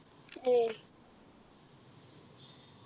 എയ്